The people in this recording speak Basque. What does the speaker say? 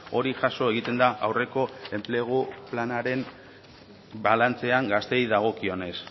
hori jaso egiten da aurreko enplegu planaren balantzean gazteei dagokionez